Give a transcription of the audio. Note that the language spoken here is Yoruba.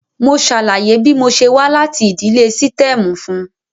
Mo ṣàlàyé bí mo ṣe wá láti ìdílé sítẹ́ẹ̀mù fún un.